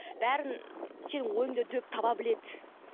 бәрін сенің ойыңды дөп таба біледі